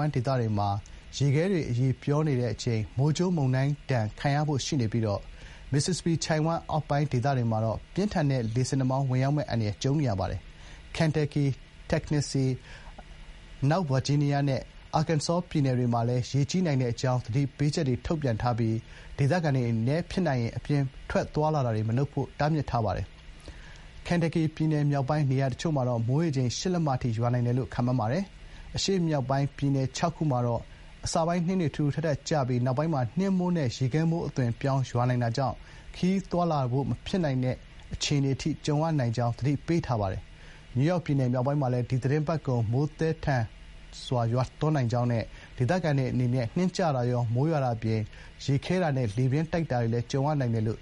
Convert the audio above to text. မ်းဒေသတွေမှာ ရေခဲတွေ အရည်ပျော်နေတဲ့အချိန် မိုးကြိုး မုန်တိုင်းဒဏ် ခံရဖို့ရှိနေပြီး Mississippi ချိုင့်ဝှမ်း အောက်ပိုင်းဒေသတွေမှာတော့ ပြင်းထန်တဲ့ လေဆင်နှာမောင်း ဝင်ရောက်မယ့် အန္တရာယ် ကြုံနေရပါတယ်။ Kentucky ၊ Tennessee ၊ အနောက် ဗာဂျီးနီးယား နဲ့ Arkansas ပြည်နယ်တွေမှာလည်း ရေကြီးနိုင်တဲ့အကြောင်း သတိပေးချက်တွေ ထုတ်ပြန်ထားပြီး ဒေသခံတွေအနေနဲ့ ဖြစ်နိုင်ရင် အပြင်ထွက် သွားလာတာတွေ မလုပ်ဖို့ မိုးလဝသဌာနက သတိပေးထားပါတယ်။ Kentucky ပြည်နယ် မြောက်ပိုင်း နေရာတချို့မှာ မိုးရေချိန် ၈ လက်မ အထိ ရွာနိုင်တယ်လို့ ခန့်မှန်းထားပါတယ်။ တချိန်တည်းမှာပဲ အရှေ့မြောက်ပိုင်း ပြည်နယ် ၆ ခုမှာတော့ အစပိုင်း နှင်းတွေ ထူထူထပ်ထပ် ကျပြီး နောက်ပိုင်း နှင်းမိုးနဲ့ ရေခဲမိုးအသွင်ပြောင်း ရွာနိုင်တာကြောင့် ခရီးသွားလာဖို့ မဖြစ်နိုင်တဲ့ အခြေအနေအထိ ကြုံရနိုင်တဲ့အကြောင်း သတိပေးထားပါတယ်။ နယူးယောက်ပြည်နယ် မြောက်ပိုင်းမှာလည်း ဒီသီတင်းပတ်ကုန် မိုးသည်းသည်းထန်ထန် ရွာနိုင်တဲ့အကြောင်းနဲ့ ဒေသခံတွေ အနေနဲ့ နှင်းကျတာရော၊ မိုးရွာတာအပြင် ရေခဲတာနဲ့ လေပြင်းတိုက်တာတွေလည်း ကြုံရနိုင်တယ်လို့